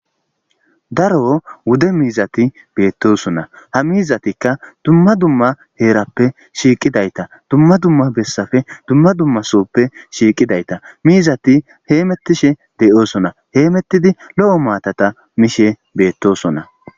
daro wude miizati beettosona ha miizatikka dumma dumma heerappe shiiqidayta dumma dumma bessafe dumma dumma sooppe shiiqidayta miizati heemettishe de'oosona heemettidi lo'o maatata miishe beettosona